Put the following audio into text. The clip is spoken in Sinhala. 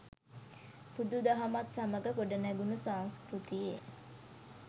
බුදු දහමත් සමග ගොඩනැඟුණු සංස්කෘතියේ